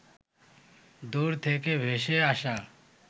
দূর থেকে ভেসে আসা